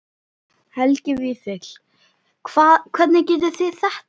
Helgi Vífill: Hvað, hvernig gerið þið þetta?